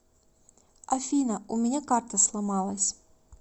афина у меня карта сломалась